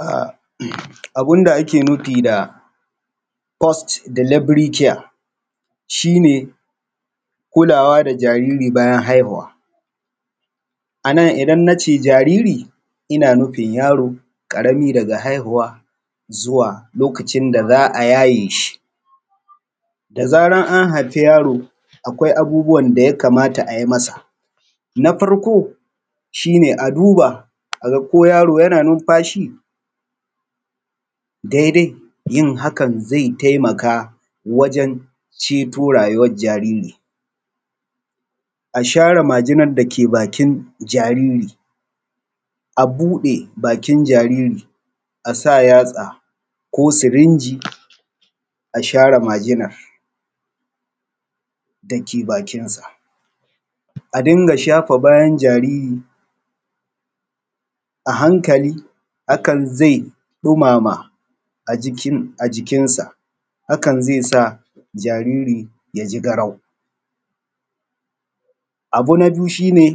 A abun da ake nufi da fos dilebri kiya shi ne kulawa da jariri bayan haihuwa. A nan idan nace jariri ina nufin yaro ƙarami daga haihuwa zuwa lokacin da za a yaye shi da zaran an hafi yaro akwai abubuwan da ya kamata a yi masa, na farko shi ne a duba a ga ko yaro yana numfashi daidai yin hakan ze taimka wajen ceto rayuwan jariri. A share majinan dake bakin jariri a buɗe bakin jariri, a sa yatsa ko sirinji a share majinan da ke bakinsa, a dinga shafa bayan jariri, a hankali hakan ze ɗumama a jikin sa, hakan ze sa jariri ya ji garau. Abu na biyu shi ne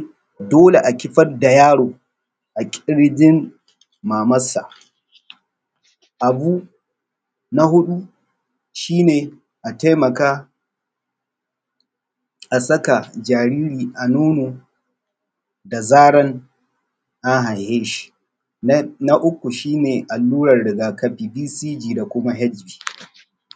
dole a kifar da yaro a ƙirjin mamarsa, abu na huɗu shi ne a taimaka a saka jaariri a nono da zaran an haife shi, na uku shi ne alluran rigakafi bcj da fg.